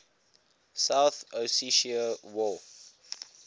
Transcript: south ossetia war